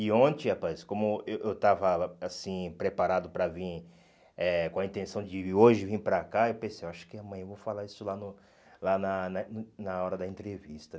E ontem, rapaz, como eh eu estava assim preparado para vir, eh com a intenção de hoje vir para cá, eu pensei, acho que amanhã vou falar isso lá no lá na na en na hora da entrevista.